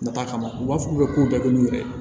Nata kama u b'a fɔ k'u bɛ ko bɛɛ kɛ n'u yɛrɛ ye